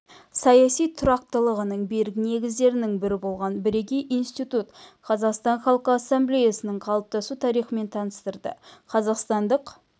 саяси тұрақтылығының берік негіздерінің бірі болған бірегей институт қазақстан халқы ассамблеясының қалыптасу тарихымен таныстырды қазақстандық